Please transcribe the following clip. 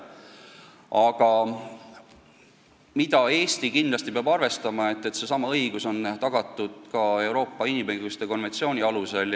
Aga mida Eesti kindlasti peab arvestama, on see, et seesama õigus peab olema tagatud ka Euroopa inimõiguste konventsiooni alusel.